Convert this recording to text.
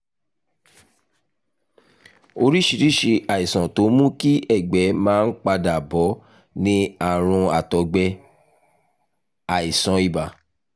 oríṣiríṣi àìsàn tó ń mú kí ẹ̀gbẹ́ máa ń padà bọ̀ ni àrùn àtọ̀gbẹ́ (àìsàn ibà)